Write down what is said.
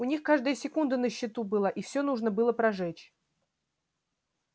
у них каждая секунда на счету была и все нужно было прожечь